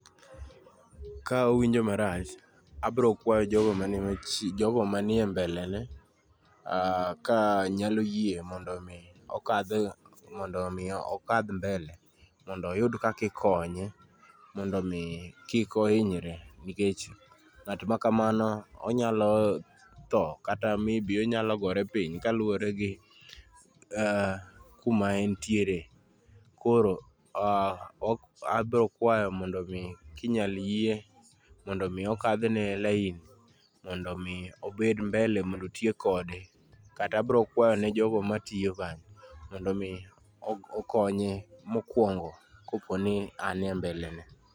Ka owinjo marach, abro kwayo jogo mani machie, jogo manie mbele ne ka nyalo yie mondo mi okadh mondo mi okadh mbele. Mondo oyud kaki konye, mondo mi kik ohinyre, nikech ng'at ma kamano onyalo tho kata maybe onyalo gore piny kaluwore gi kuma entiere. Koro abro kwayo mondo mi kinyal yie mondo mi okadhne lain, mondo mi obed mbele mondo otiek kode. Kata abro kwayone jogo matiyo kanyo mondo mi okonye mokwongo koponi an e mbele ne.